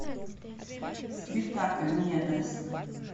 спектакль недоросль